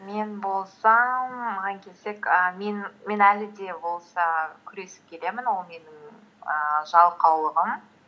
мен болсам маған келсек і мен әлі де болса күресіп келемін ол менің ііі жалқаулығым